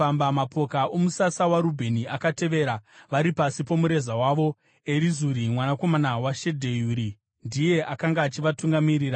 Mapoka omusasa waRubheni akatevera, vari pasi pomureza wavo. Erizuri mwanakomana waShedheuri ndiye akanga achivatungamirira.